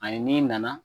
Ani n'i nana